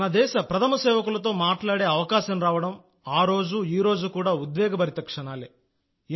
మన దేశ ప్రథమ సేవకులతో మాట్లాడగలగడం ఆరోజు ఈరోజు కూడా ఉద్వేగభరిత క్షణాలే